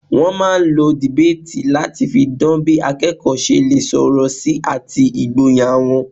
Wọ́n máà ń lo debate láti fi dan bí akẹ́kọ̀ọ́ ṣe lè sọ̀rọ̀ sí àti ìgboyà wọn.